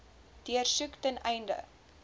deursoek ten einde